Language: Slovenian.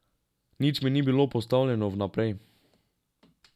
Nič mi ni bilo postavljeno vnaprej.